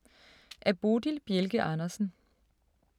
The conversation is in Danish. Af Bodil Bjelke Andersen